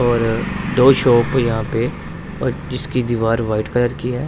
और दो शॉप है यहां पे जिसकी दीवार व्हाइट कलर की हैं।